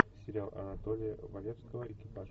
сериал анатолия валевского экипаж